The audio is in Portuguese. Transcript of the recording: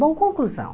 Bom, conclusão.